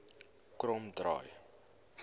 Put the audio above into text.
kromdraai